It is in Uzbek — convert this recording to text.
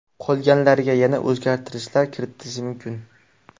Qolganlariga yana o‘zgartirishlar kiritilishi mumkin.